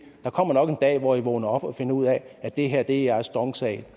der kommer nok en dag hvor i vågner op og finder ud af at det her er jeres dong sag